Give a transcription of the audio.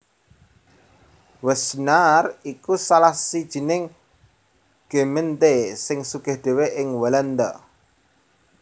Wassenaar iku salah sijining gemeente sing sugih dhéwé ing Walanda